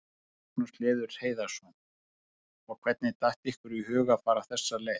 Magnús Hlynur Hreiðarsson: Og hvernig datt ykkur í hug að fara þessa leið?